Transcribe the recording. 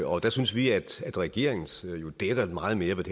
og der synes vi at regeringens jo dækker meget mere hvad